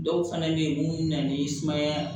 Dɔw fana bɛ yen mun bɛ na ni sumaya